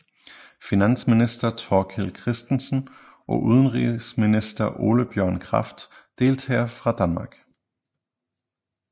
Finansminister Thorkild Kristensen og udenrigsminister Ole Bjørn Kraft deltager fra Danmark